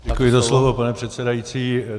Děkuji za slovo, pane předsedající.